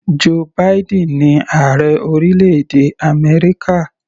Joe Biden ni ààrẹ orílẹ̀-èdè Amẹ́ríkà.